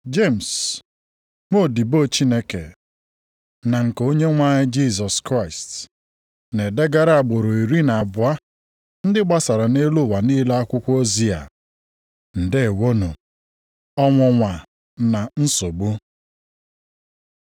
Jemis, nwaodibo Chineke na nke Onyenwe anyị Jisọs Kraịst, Na-edegara agbụrụ iri na abụọ ndị gbasara nʼelu ụwa niile akwụkwọ ozi a: Ndeewonụ! Ọnwụnwa na nsogbu